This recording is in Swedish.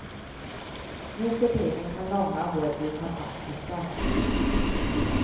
Nuförtiden kan långa hår bli fantastiska.